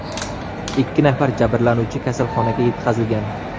Ikki nafar jabrlanuvchi kasalxonaga yetkazilgan.